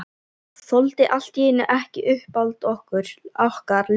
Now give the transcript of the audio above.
Þoldi allt í einu ekki uppáhald okkar lengur.